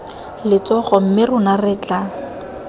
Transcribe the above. letsogo mme rona re tla